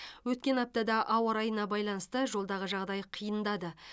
өткен аптада ауа райына байланысты жолдағы жағдай қиындады